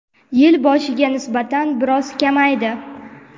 yil boshiga nisbatan biroz kamaydi.